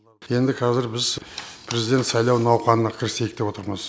енді қазір біз президент сайлауы науқанына кірісейік деп отырмыз